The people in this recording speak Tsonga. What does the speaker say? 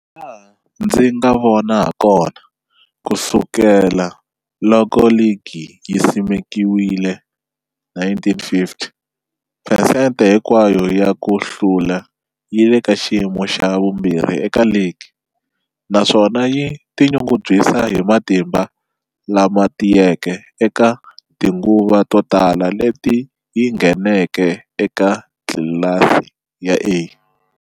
Hilaha ndzi nga vona hakona, ku sukela loko ligi yi simekiwile, 1950, phesente hinkwayo ya ku hlula yi le ka xiyimo xa vumbirhi eka ligi, naswona yi tinyungubyisa hi matimba lama tiyeke eka tinguva to tala leti yi ngheneke eka tlilasi ya A.